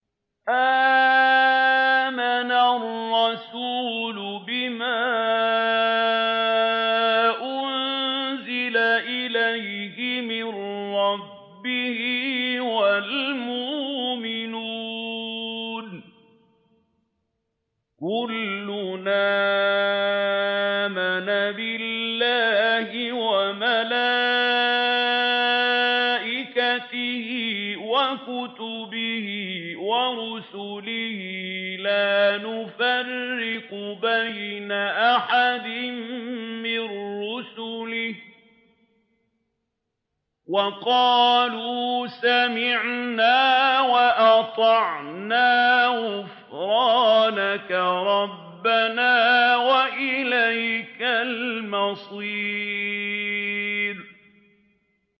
آمَنَ الرَّسُولُ بِمَا أُنزِلَ إِلَيْهِ مِن رَّبِّهِ وَالْمُؤْمِنُونَ ۚ كُلٌّ آمَنَ بِاللَّهِ وَمَلَائِكَتِهِ وَكُتُبِهِ وَرُسُلِهِ لَا نُفَرِّقُ بَيْنَ أَحَدٍ مِّن رُّسُلِهِ ۚ وَقَالُوا سَمِعْنَا وَأَطَعْنَا ۖ غُفْرَانَكَ رَبَّنَا وَإِلَيْكَ الْمَصِيرُ